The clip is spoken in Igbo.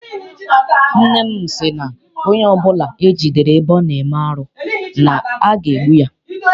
Nne m sị na onye ọbụla e jidere ebe ọ na-eme arụ na aga egbu ya.